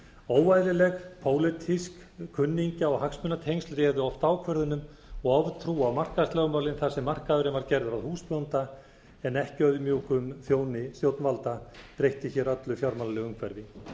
óeðlilegt pólitísk kunningja og hagsmunatengsl réðu oft ákvörðunum og oftrú á markaðslögmálin þar sem markaðurinn var gerður að húsbónda en ekki auðmjúkum þjóni stjórnvalda breytti öllu fjármálalegu umhverfi